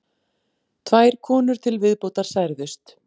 Tvær konur til viðbótar særðust